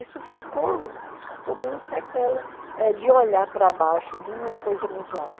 Isso ficou como uma sequela eh de olhar para baixo de uma coisa muito alta.